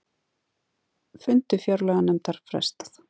Fundi fjárlaganefndar frestað